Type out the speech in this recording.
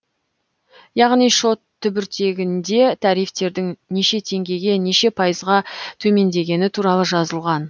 яғни шот түбіртегінде тарифтердің неше теңгеге неше пайызға төмендегені туралы жазылған